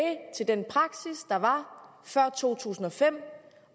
til den praksis der var før to tusind og fem